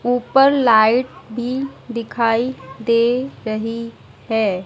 ऊपर लाइट भी दिखाई दे रही है।